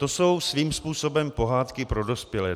To jsou svým způsobem pohádky pro dospělé.